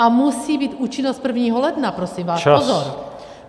A musí být účinnost 1. ledna, prosím vás, pozor.